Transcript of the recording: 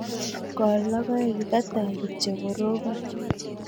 Kol logoek ye kataoi kityo orobon